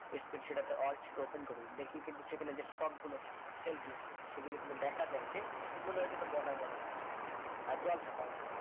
space সেটাতে work sheet open করি দেখি কিন্তু সেখানে যে short গুলো থাকে sale গুলো থাকে সে গুলো কিন্তু দেখা যাই যে মনে হয় যেন border border আছে আর জলছাপার মতো